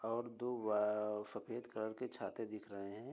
और दो वा सफ़ेद कलर के छाते दिख रहे हैं ।